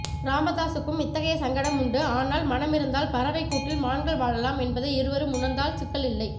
ராமதாசுக்கும் இத்தகைய சங்கடம் உண்டு ஆனால் மனமிருந்தால் பறவைக் கூட்டில் மான்கள் வாழலாம் என்பதை இருவரும் உணர்ந்தால் சிக்கல் இல்லை